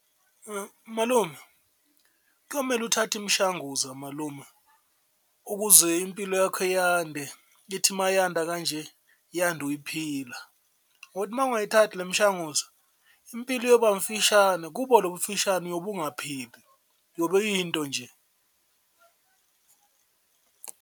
Malume kuyomele uthathe imishanguza malume ukuze impilo yakho yande, ithi mayanda kanje yande uyiphila ngokuthi uma ungayithandi le mishanguzo impilo iyoba mfishane kubo lobu mfishane, uyobe ungaphili, uyobe uyinto nje.